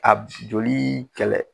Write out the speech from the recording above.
Ab i joli kɛlɛ.